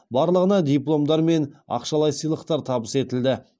барлығына дипломдар мен ақшалай сыйлықтар табыс етілді